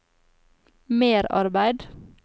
merarbeid